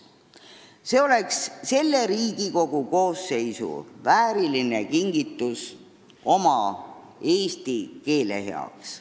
See oleks selle Riigikogu koosseisu vääriline kingitus, mida eesti keel vääriks.